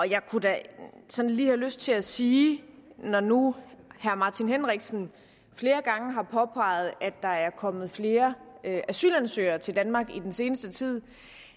jeg kunne da sådan lige have lyst til at sige når nu herre martin henriksen flere gange har påpeget at der er kommet flere asylansøgere til danmark i den seneste tid